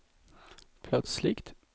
plötsligt